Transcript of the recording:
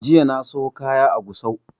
Jiya na siyo kaya a gusau